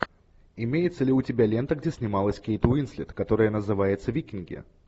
имеется ли у тебя лента где снималась кейт уинслет которая называется викинги